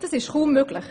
Das ist kaum möglich.